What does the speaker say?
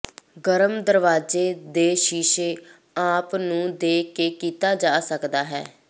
ਗਰਮ ਦਰਵਾਜ਼ੇ ਦੇ ਸ਼ੀਸ਼ੇ ਆਪ ਨੂੰ ਦੇ ਕੇ ਕੀਤਾ ਜਾ ਸਕਦਾ ਹੈ